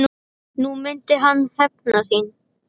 Nú myndi hann hefna sín.